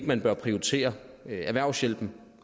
man bør prioritere erhvervshjælpen